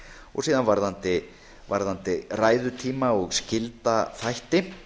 og síðan varðandi ræðutíma og skylda þætti